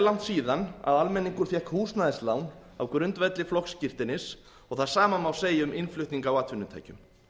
langt síðan almenningur fékk húsnæðislán á grundvelli flokksskírteinis og það sama má segja um innflutning á atvinnutækjum